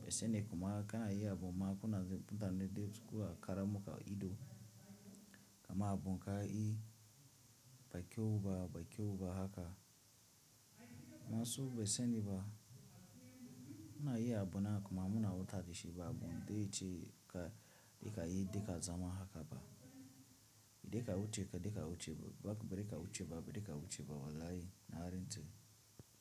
ban sane kuma kana yi abu ma kuna mutane de sukka karamu ka ido, ka ma abun ka yi ba kyau ba, ba kyau ba haka. Masu ban sani ba, muna yi abu na kuma muna wutashi ba abun da yace ka yi de ka zama haka ba. De ka wuce ba de ka wuce ba, ba de ka wuce ba, ba de ka wuce ba wala yi na rantse.